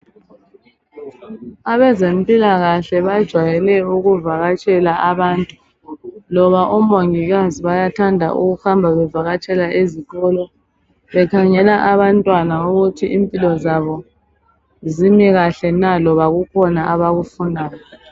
Abezempilakahle bajwayele ukuvakatshela abantu loba omongikazi bayathanda ukuhamba bevakatshela ezikolo bekhangela abantwana ukuthi impilo zabo zimikahle na loba kukhona abakufunayo.